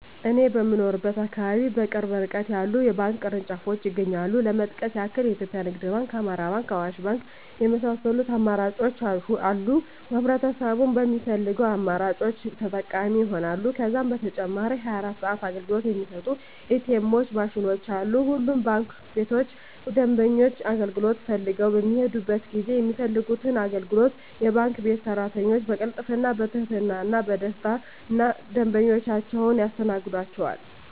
እኔ በምኖርበት አካባቢ በቅርብ እርቀት የተለያዩ የባንክ ቅርንጫፎች ይገኛሉ ለመጥቀስ ያክል ኢትዮጵያ ንግድ ባንክ፣ አማራ ባንክ፣ አዋሽ ባንክ የመሳሰሉት አማራጮች አሉ ህብረተሰቡም በሚፈልገው አማራጮች ተጠቃሚ ይሆናሉ። ከዛም በተጨማሪ 24 ሰዓት አገልግሎት የሚሰጡ ኢ.ቲ. ኤምዎች ማሽኖችም አሉ። ሁሉም ባንክ ቤቶች ደንበኞች አገልግሎት ፈልገው በሚሔዱበት ጊዜ የሚፈልጉትን አገልግሎት የባንክ ቤት ሰራተኞች በቅልጥፍና፣ በትህትና እና በደስታና ደንበኞቻቸውን ያስተናግዷቸዋል! ዠ።